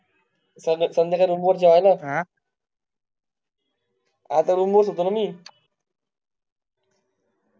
चंद्या च्या room वर जैलास ना, आता room वरच होतो ना मी